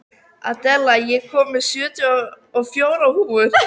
Adela, ég kom með sjötíu og fjórar húfur!